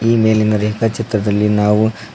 ಈ ಮೇಲಿನ ರೇಖಾ ಚಿತ್ರದಲ್ಲಿ ನಾವು--